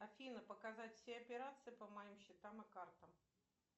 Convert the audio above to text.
афина показать все операции по моим счетам и картам